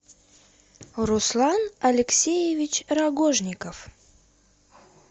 руслан алексеевич рогожников